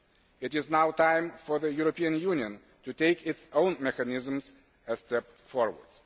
It is now time for the European Union to take its own mechanisms a step forward.